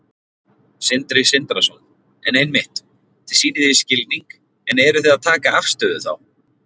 Sindri Sindrason: En einmitt, þið sýnið því skilning en eruð þið að taka afstöðu þá?